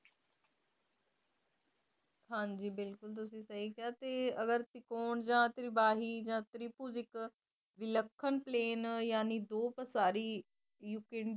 ਹਾਜੀ ਬਿਲਕੁਲ ਤੁਸੀ ਸਹੀ ਕਿਹਾ ਅਗਰ ਤ੍ਰਿਕੋਣ ਜਾ ਤਿਬਾਹੀ ਜਾ ਤ੍ਰਿਭੁਜ ਇੱਕ ਦੱਖਣ ਪਲੈਨ